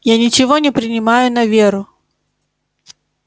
я ничего не принимаю на веру